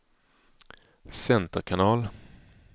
center kanal